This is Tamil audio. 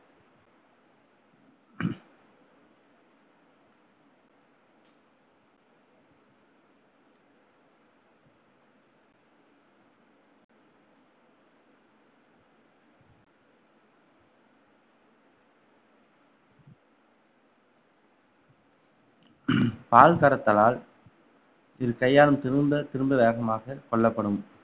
பால் கறத்தலால் இது கையாலும் திரும்ப திரும்ப வேகமாக கொல்லப்படும்